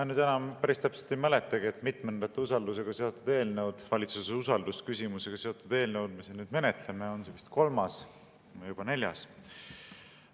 Ma nüüd enam päris täpselt ei mäletagi, mitmendat valitsuse usalduse küsimusega seotud eelnõu me menetleme, on vist kolmas või juba neljas.